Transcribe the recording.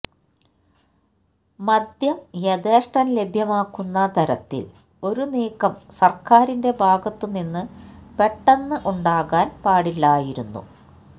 മദ്യം യഥേഷ്ടം ലഭ്യമാക്കുന്ന തരത്തില് ഒരു നീക്കം സര്ക്കാരിന്റെ ഭാഗത്തു നിന്ന് പെട്ടെന്ന് ഉണ്ടാകാന് പാടില്ലായിരുന്നു